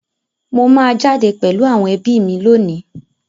Mo máa jáde pẹ̀lú àwọn ẹbí mi lónìí.